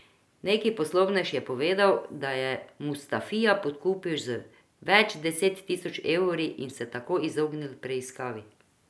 Neki poslovnež je povedal, da je Mustafija podkupil z več deset tisoč evri in se tako izognil preiskavi.